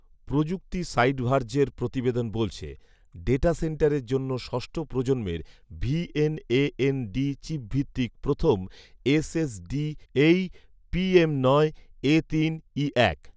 প্রযুক্তি সাইট ভার্জের প্রতিবেদন বলছে, ডেটা সেন্টারের জন্য ষষ্ঠ প্রজন্মের ভি এন.এ.এন.ডি চিপভিত্তিক প্রথম এস.এস.ডি এই ‘পি.এম.নয়.এতিন.ইএক